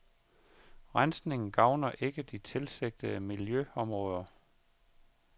Rensningen gavner ikke de tilsigtede miljøområder.